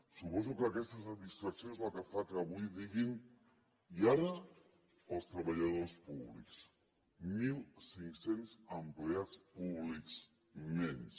suposo que aquesta satisfacció és el que fa avui diguin i ara els treballadors públics mil cinc cents empleats públics menys